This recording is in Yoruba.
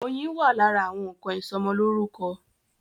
Oyin wà lára àwọn nnkan ìsọmọlórúkọ.